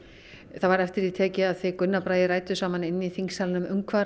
það var eftir því tekið að þið Gunnar Bragi rædduð saman inni í þingsalnum um hvað